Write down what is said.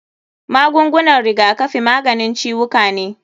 Magungunan rigakafi maganin ciwuka ne.